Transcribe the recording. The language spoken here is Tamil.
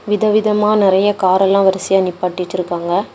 விதவிதமா நெறைய காரெல்லா வரிசையா நிப்பாட்டி வச்சிருக்காங்க.